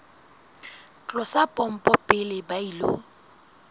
tlosa pompo pele ba ilo